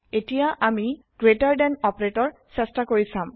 এতিয়া আমি greater than operator চেষ্টা কৰি চাম